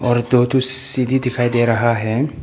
और दो ठो सीढ़ी दिखाई दे रहा है।